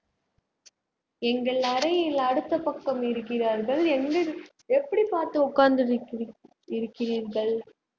எங்கள் அறையில் அடுத்த பக்கம் இருக்கிறார்கள் எங்கு எப்படி பாத்து உட்காந்து கொண்டிருக்கிறீர்கள்